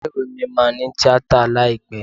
Ilé ìwé mi máa ní Tíátà láìpẹ́.